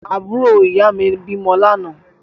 Àbúrò ìyáà mi bímọ lánàá.